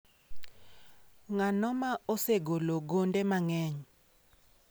Ng’ano ma osegolo gonde mang’eny?